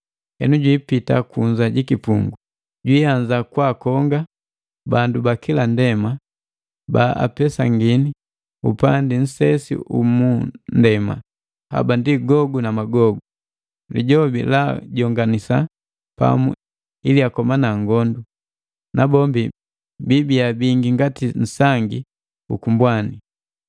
Henu jwiipita kunza ku kipungu, jwiianza kwakonga bandu ba kila ndema ba apesangini upandi nsesi u mu nndema, haba ndi Gogu na Magogu. Lijobi laajonganisa pamu ili akomana ngondu, nabombi biibia bingi ngati nsangi ukumbwani.